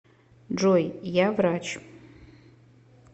джой я врач